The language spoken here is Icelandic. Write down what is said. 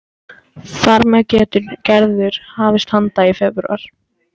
Þar með getur Gerður hafist handa í febrúar